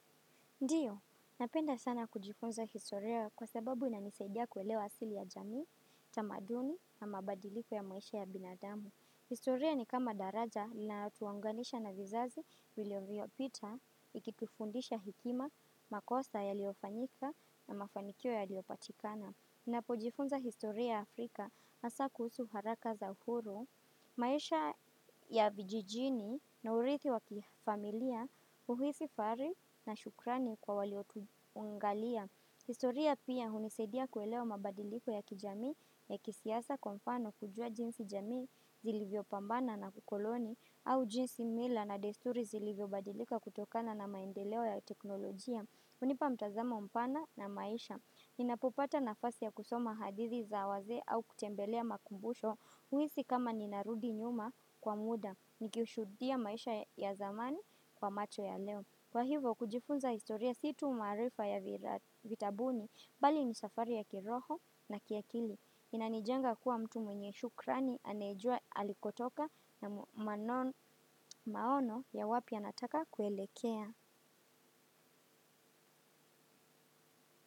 Ndio, napenda sana kujifunza historia kwa sababu inanisaidia kuelewa asili ya jamii, tamaduni na mabadiliko ya maisha ya binadamu. Historia ni kama daraja linalotuunganisha na vizazi vilivyopita, ikitufundisha hekima, makosa yaliyofanyika na mafanikio yaliyopatikana. Napojifunza historia ya Afrika hasa kuhusu waraka za uhuru, maisha ya vijijini na uridhi wa kifamilia huhisi fahari na shukrani kwa waliotuangalia. Historia pia hunisaidia kuelewa mabadiliko ya kijamii ya kisiasa kwa nfano kujua jinsi jamii zilivyopambana na ukoloni au jinsi mila na desturi zilivyobadilika kutokana na maendeleo ya teknolojia. Hunipa mtazamo mpana na maisha. Ninapopata nafasi ya kusoma hadithi za wazee au kutembelea makumbusho huhisi kama ninarudi nyuma kwa muda. Nikiushuhudia maisha ya zamani kwa macho ya leo. Kwa hivo kujifunza historia si tu maarifa ya vitabuni bali ni safari ya kiroho na kiakili. Inanijenga kuwa mtu mwenye shukrani anayejua alikotoka na maono ya wapi anataka kuelekea.